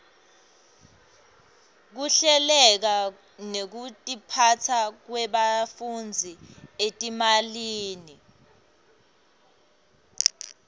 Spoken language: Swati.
kuhleleka nekutiphasa kwebafundzi etimalini